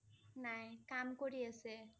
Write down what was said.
নাই, কাম কৰি আছে